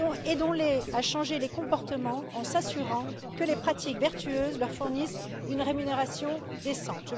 Aidons les à changer les comportements, en s'assurant que les pratiques vertueuses leur fournissent une rémunération décente.